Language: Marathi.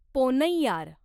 पोन्नैयार